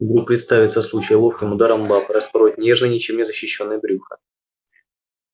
вдруг представится случай ловким ударом лапы распороть нежное ничем не защищённое брюхо